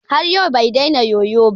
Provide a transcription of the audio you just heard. Har yau bai dena yoyon ba.